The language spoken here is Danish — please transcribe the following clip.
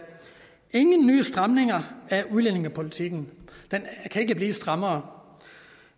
ingen nye stramninger af udlændingepolitikken den kan ikke blive strammere